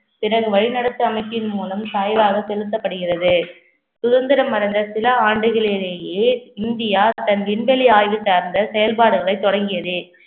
பிறகு வழிநடத்தும் அமைப்பின் மூலம் சாய்வாக செலுத்தப்படுகிறது சுதந்திரம் அடைந்த சில ஆண்டுகளிலேயே இந்தியா தன் விண்வெளி ஆய்வு சார்ந்த செயல்பாடுகளை தொடங்கியது